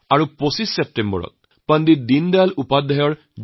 আকৌ ২৫ ছেপ্টেম্বৰ পণ্ডিত দীনদয়াল উপাধ্যায়ৰ জন্মদিন